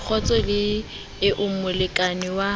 kgotso le eo molekane wa